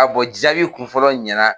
jaabi kun fɔlɔ ɲɛna.